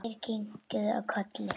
Þær kinkuðu kolli.